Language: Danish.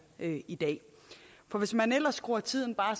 i dag for hvis man skruer tiden bare